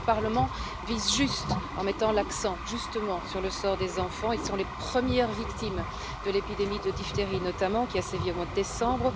Notre Parlement vise juste en mettant l'accent, justement, sur le sort des enfants. Ils sont les premières victimes de l'épidémie de diphtérie, notamment, qui a sévi au mois de décembre.